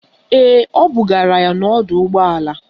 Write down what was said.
Ee, o bugara ya n'ọdọụgbọala.